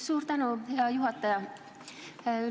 Suur tänu, hea juhataja!